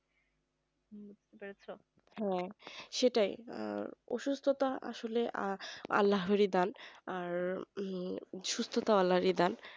হ্যাঁ সেটাই ওষুধ তাহলে তো আসলে আর না হরিদ্বার আর ওই সুস্থতা আল্লাহর দান